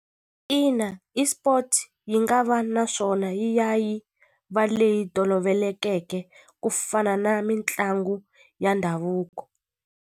Ina esport yi nga va naswona yi ya yi va leyi tolovelekeke ku fana na mitlangu ya ndhavuko.